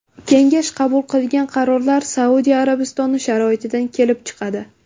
Kengash qabul qilgan qarorlar Saudiya Arabistoni sharoitidan kelib chiqadi.